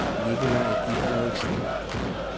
Nicolai Dideriksen